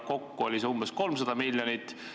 Kokku oli see umbes 300 miljonit.